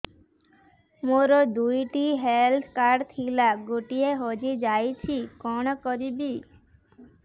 ମୋର ଦୁଇଟି health card ଥିଲା ଗୋଟିଏ ହଜି ଯାଇଛି କଣ କରିବି